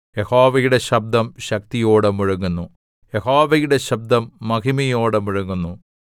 യഹോവയുടെ ശബ്ദം ശക്തിയോടെ മുഴങ്ങുന്നു യഹോവയുടെ ശബ്ദം മഹിമയോടെ മുഴങ്ങുന്നു